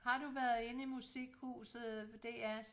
Har du været inde i musikhuset ved DRs